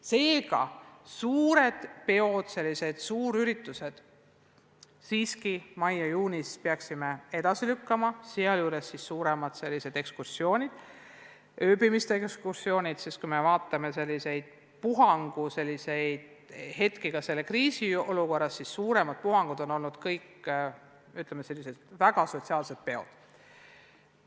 Seega peaksime suured peod, suurüritused mais ja juunis siiski edasi lükkama – see puudutab ka suuremaid ekskursioone, ööbimistega ekskursioone –, sest kui vaatame puhanguhetki ka selles kriisiolukorras, siis suuremad puhangud on olnud kõik, ütleme, sellised väga sotsiaalsed peod.